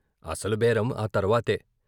అసలు బేరం ఆ తర్వాతే.